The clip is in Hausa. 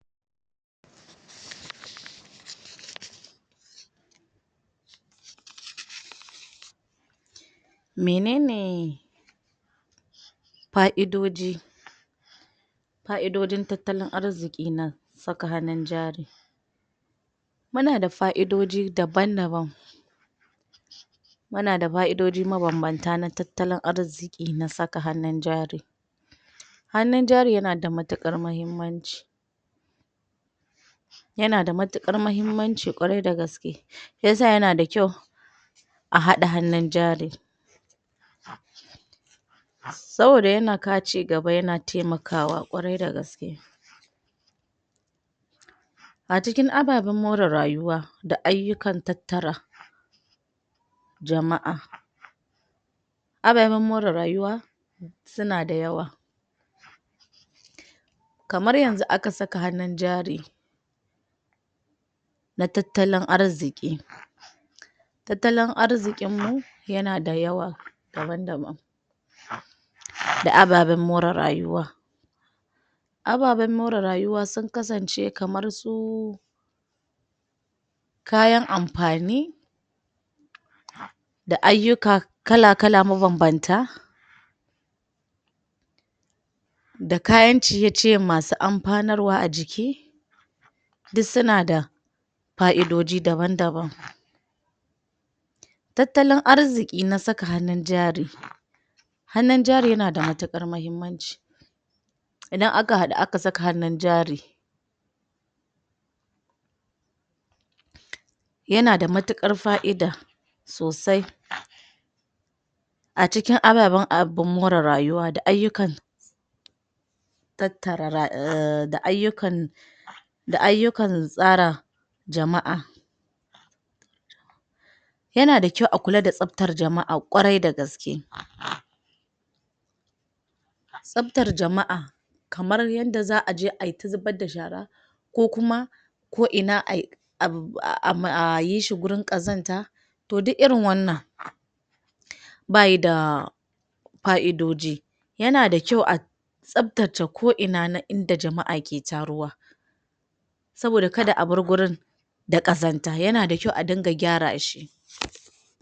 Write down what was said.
Menene paidoji paidojin tatalan arzikin nan, sakanin jari. Mu na da faidoji daban-daban mu na da faidoji mabanbanta na tatalan arziki na saka hanun jari hanun jari ya na da matukar mahimmanci ya na da matukar mahimmanci kwarai da gaske shiyasa ya na da kyau a hada hanun jari saboda ya na kau ci gaba, ya na taimakawa kwarai da gaske A cikin ababan mora rayuwa da ayukan tattara jamaa ababen mora rayuwa suna dayawa kamar yanzu a ka saka hanun jari na tatalan arziki tatalan arzikin mu ya na da yawa daban-daban da ababen mora rayuwa ababen mora rayuwa, sun kasance kamar su kayan amfani da ayuka, kala-kala mabanbanta da kayan ciye-ciyen masu ampanarwa a jiki duk su na da fa'doji daban-daban tatalan arziki na saka haun jari hanun jari ya na da matakar mahimmanci idan a ka hadu a ka saka hanun jari. Ya na da matukar faida sosai a cikin ababen abun mora rayuwa da ayukan tattara da ayukan da ayukan tsara jamaa ya na da kyau a kulla da sabtar jamaa kwarai da gaske sabtar jamaa kamar yanda zaa je a yi ta zubar da shara ko kuma, koina a yi a a a yi shi gurin kazanta toh duk irin wannan ba yi da faidoji, ya na da kyau a sabtaca koina na inda jamaa ke taruwa saboda ka da a bar gurin da kazanta, ya na da kyau a dinga gyara shi.